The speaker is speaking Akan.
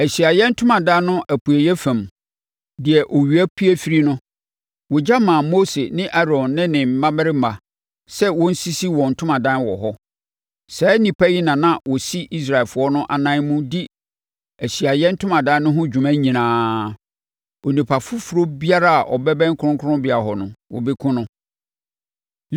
Ahyiaeɛ Ntomadan no apueeɛ fam, deɛ owia pue firi no, wɔgya maa Mose ne Aaron ne ne mmammarima sɛ wɔnsisi wɔn ntomadan wɔ hɔ. Saa nnipa yi na na wɔsi Israelfoɔ no anan mu di Ahyiaeɛ Ntomadan no ho dwuma nyinaa. Onipa foforɔ biara a ɔbɛbɛn kronkronbea hɔ no, wɔbɛkum no.